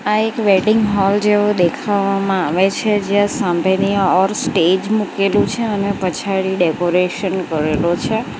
આ એક wedding hall જેવો દેખાવામાં આવે છે જ્યાં સાંભેની ઓર સ્ટેજ મૂકેલું છે અને પછાડી ડેકોરેશન કરેલું છે.